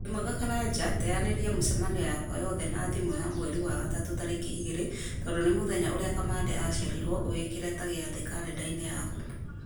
wĩ mwega karanja teanĩria mĩcemanio yakwa yothe na thimũ ya mweri wa gatatũ tarĩki igĩrĩ tondũ nĩ mũthenya ũrĩa kamande aciarirwo ũwĩkĩre ta gĩathĩ karenda-inĩ yaku